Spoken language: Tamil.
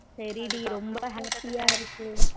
சரி டி ரொம்ப happy யா இருக்கு